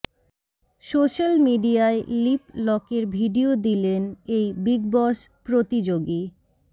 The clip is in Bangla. সোশ্যাল মিডিয়ায় লিপ লকের ভিডিও দিলেন এই বিগ বস প্রতিযোগী